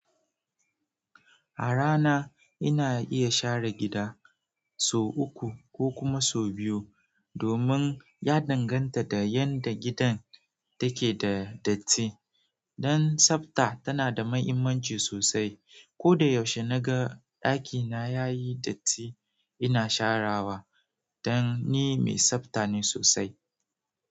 A rana ina iya share gida sau uku ko kuma sau biyu domin ya danganta da yadda gidan take da datti. Dan tsafta yana da mahimmanci soasai ko da yaushe naga ɗakina yayi datti ina sharawa dan ni mai tsabta ne sosai.